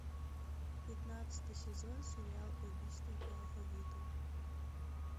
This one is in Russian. пятнадцатый сезон сериал убийство по алфавиту